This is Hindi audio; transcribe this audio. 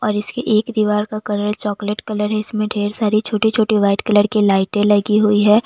और इसके एक दीवार का कलर चॉकलेट कलर इसमें ढेर सारी छोटी छोटी व्हाइट कलर की लाइटें लगी हुई है।